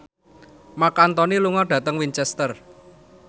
Marc Anthony lunga dhateng Winchester